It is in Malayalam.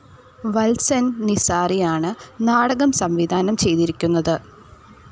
വത്സൻ നിസാറിയാണ് നാടകം സംവിധാനം ചെയ്തിരിക്കുന്നത്.